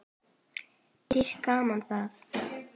Dýrt gaman það.